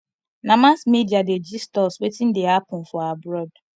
na mass media dey gist us wetin dey happen for abroad